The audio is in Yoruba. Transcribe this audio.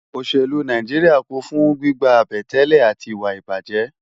Óṣélú Náijiriá kún fún gbigbá àbẹ̀tẹ́lẹ̀ áti iwá ibájè